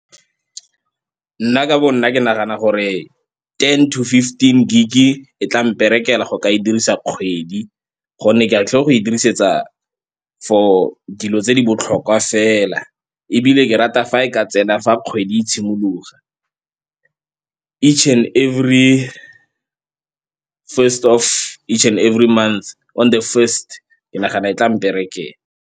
Nna ka bo nna ke nagana gore ten to fifteen gig-e e tla mperekela go ka e dirisa kgwedi gonne ke a tlo go e dirisetsa for dilo tse di botlhokwa fela, ebile ke rata fa e ka tsena fa kgwedi e simologa. Each and every first of each and every month on the first, ke nagana e tla mperekela.